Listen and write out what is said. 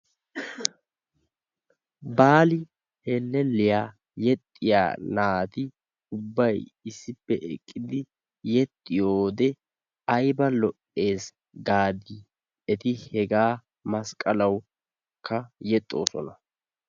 Baali helleliyaa yexiyaa naatti ubbay issippe eqqidi yexiyo wode aybba lo'ees gaadi, etti hegaa masqallawukka yexoosona.